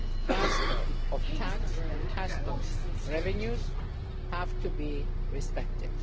transfer of tax and custom revenues have to be respected.